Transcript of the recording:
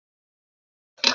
Hótel Borg.